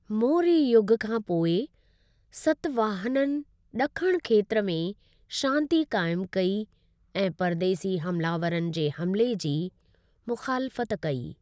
मौर्य युग खां पोइ सातवाहननि दक्क्न खेत्र में शांति काइम कई ऐं परदेसी हमलावरनि जे हमले जी मुखालिफ़त कई।